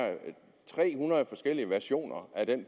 tre hundrede forskellige versioner af den